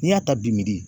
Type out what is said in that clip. N'i y'a ta